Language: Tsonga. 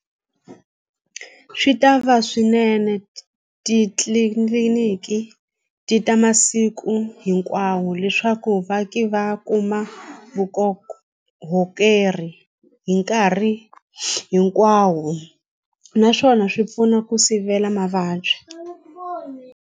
Swi ta va swinene titliliniki ti ta masiku hinkwawo leswaku vaaki va kuma vukorhokeri hi nkarhi hinkwawo naswona swi pfuna ku sivela mavabyi.